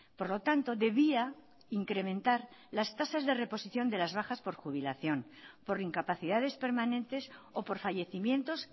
por lo tanto debía incrementar las tasas de reposición de las bajas por jubilación por incapacidades permanentes o por fallecimientos